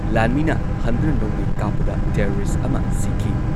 ꯂꯥꯟꯃꯤꯅ ꯍꯟꯗꯨꯅ ꯅꯣꯡꯃꯩ ꯀꯥꯞꯄꯗ ꯇꯦꯔꯣꯔꯤꯁꯠ ꯑꯃ ꯁꯤꯈꯤ꯫